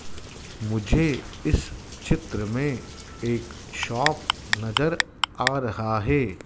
मुझे इस चित्र में एक शॉप नजर आ रहा है।